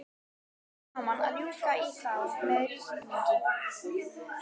Nú væri gaman að rjúka í þá með rýtinginn.